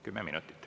Kümme minutit.